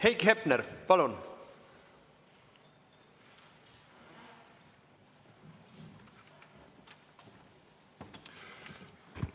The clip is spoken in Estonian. Heiki Hepner, palun!